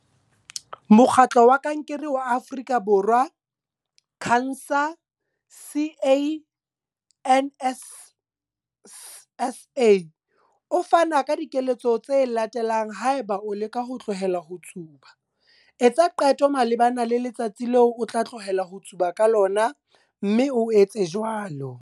Mokgatlo wa Kankere wa Afrika Borwa CANSA C A N S A o fana ka dikeletso tse latelang haeba o leka ho tlohela ho tsuba. Etsa qeto malebana le letsatsi leo o tla tlohela ho tsuba ka lona, mme o etse jwalo.